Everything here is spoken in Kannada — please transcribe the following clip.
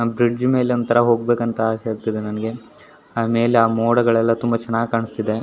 ಆ ಬ್ರಿಜ್ ಮೇಲೆ ಒಂತಾರ ಹೊಗ್ ಬೇಕುಅಂತ ಆಸೆ ಇತ್ತು ನನಗೆ ಮೇಲೆ ಆ ಮೋಡಗಳೆಲ್ಲ ತುಂಬಾ ಚೆನ್ನಾಗಿ ಕನ್ಸ್ಥಿದೆ .